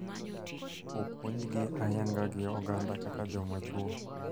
Opuondhgi ayanga gi oganda kaka joma chwo.